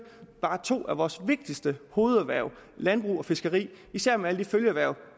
to af vores vigtigste hovederhverv landbrug og fiskeri især med alle de følgeerhverv